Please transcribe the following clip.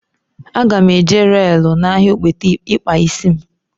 A ga m eje reelu n'ahia ogbete ikpa isi m